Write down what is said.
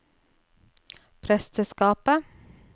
presteskapet